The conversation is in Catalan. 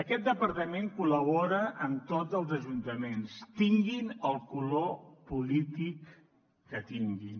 aquest departament col·labora amb tots els ajuntaments tinguin el color polític que tinguin